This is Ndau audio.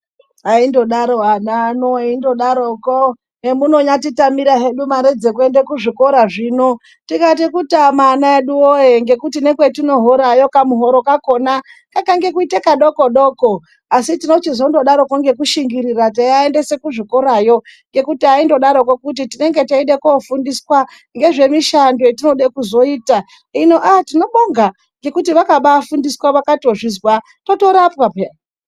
Aindodaro ana ano eingodaroko kuti ungatitamire mare dzekuenda kuzvikora. Zvino tikati kutama mare ana edu woye nekuti nekwatinohora, kamuhoro kedu kakange kuita kadoko doko. Asi tinochizongodaro teishingirira teivaendesa kuzvikorayo kuti eingodaroko kuti tinenge tichida kufundiswa ngezvemishando yatoda kuzoita. Hino aa tinobonga ngekuti vakabaafundiswa tikazvizwa, totorapwa peya.